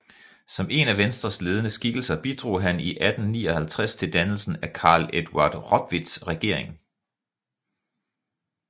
Som en af Venstres ledende skikkelser bidrog han i 1859 til dannelsen af Carl Eduard Rotwitts regering